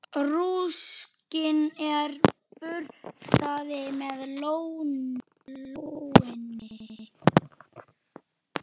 Rúskinn er burstað með lónni.